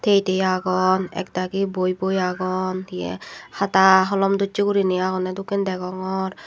tiye tiye agon ekdagi boi boi agon hiye hata holom dossey guriney agonney dokken degongor.